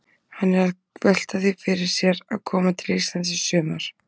Hann er að velta því fyrir sér að koma til Íslands í sumar.